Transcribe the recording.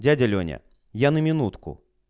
дядя лёня я на минутку